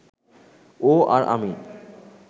ও আর আমি